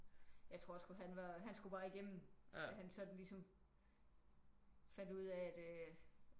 Jeg tror sgu han var han skulle bare igennem da han sådan ligesom fandt ud af at øh